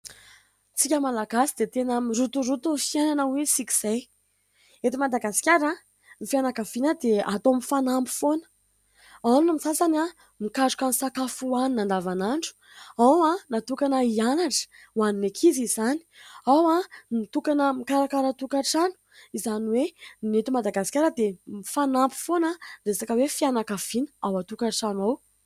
Tsika Malagasy dia tena mirotoroto ny fiainana hoy isika izay. Eto Madagasikara, ny fianakaviana dia atao mifanampy foana : ao ny sasany mikaroka ny sakafo hohanina an-davanandro, ao natokana hianatra hoan'ny ankizy izany, ao ny mitokana ho mikarakara tokantrano, izany hoe ny eto Madagasikara dia mifanampy foana resaka hoe fianakaviana ao an-tokantrano ao.